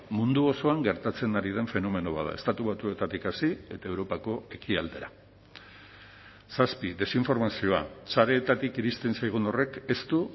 mundu osoan gertatzen ari den fenomeno bat da estatu batuetatik hasi eta europako ekialdera zazpi desinformazioa sareetatik iristen zaigun horrek ez du